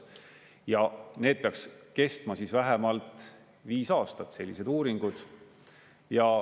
Ja need peaks kestma vähemalt viis aastat, sellised uuringud.